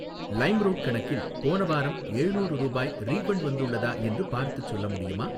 Limeroad கணக்கில் போன வாரம் ஏழ்நூறு ரூபாய் ரீஃபண்ட் வந்துள்ளதா என்று பார்த்துச் சொல்ல முடியுமா?